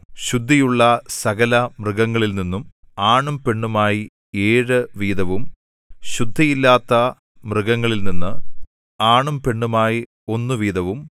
ശുദ്ധിയുള്ള സകലമൃഗങ്ങളിൽനിന്നും ആണും പെണ്ണുമായി ഏഴു വീതവും ശുദ്ധിയില്ലാത്ത മൃഗങ്ങളിൽനിന്ന് ആണും പെണ്ണുമായി ഒന്ന് വീതവും